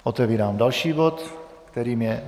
Otevírám další bod, kterým je